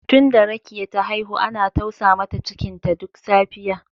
Tunda Rekiya ta haihu ana tausa mata cikinta duk safiya